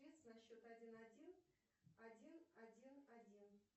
на счет один один один один один